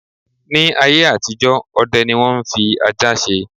Ní ayé àtijọ́, ọdẹ ni wọ́n ń fi ajá ṣe.